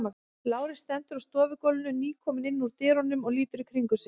Lárus stendur á stofugólfinu, nýkominn inn úr dyrunum og lítur í kringum sig.